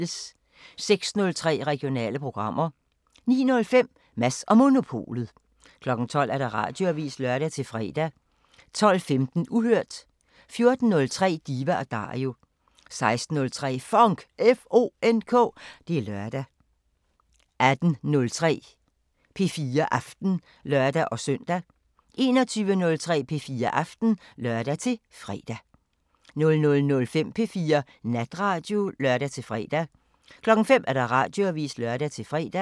06:03: Regionale programmer 09:05: Mads & Monopolet 12:00: Radioavisen (lør-fre) 12:15: Uhørt 14:03: Diva & Dario 16:03: FONK! Det er lørdag 18:03: P4 Aften (lør-søn) 21:03: P4 Aften (lør-fre) 00:05: P4 Natradio (lør-fre) 05:00: Radioavisen (lør-fre)